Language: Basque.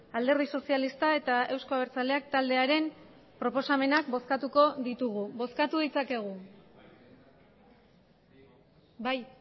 alderdi sozialista eta euzko abertzaleak taldearen proposamenak bozkatuko ditugu bozkatu ditzakegu bai